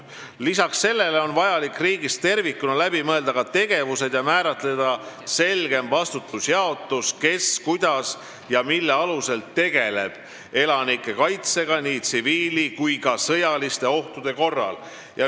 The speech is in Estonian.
Peale selle on vaja riigis tervikuna läbi mõelda ka tegevused ja määratleda selgem vastutusjaotus, kes, kuidas ja mille alusel tegeleb elanike kaitsega nii tsiviil- kui ka sõjaliste ohtude korral.